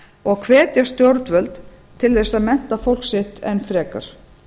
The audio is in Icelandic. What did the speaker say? og hvetja stjórnvöld til að mennta fólk sitt enn frekar